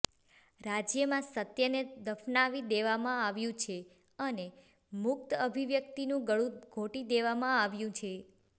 રાજ્યમાં સત્યને દફનાવી દેવામાં આવ્યું છે અને મુક્ત અભિવ્યક્તિનું ગળું ઘોટી દેવામાં આવ્યું છે